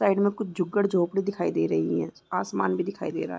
Side में कुछ झुगड झोपडी भी दिखाई दे रही है आसमान भी दिखाई दे रहा है।